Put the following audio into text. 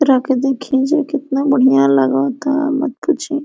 रा के देख लीजिएकितना बढ़िया लागा ता मत पूछी।